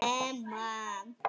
Það er búið að skemma.